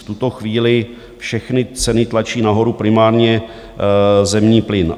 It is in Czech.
V tuto chvíli všechny ceny tlačí nahoru primárně zemní plyn.